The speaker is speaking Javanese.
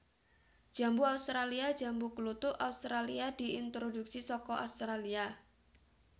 Jambu australia Jambu kluthuk Australia diintroduksi saka Australia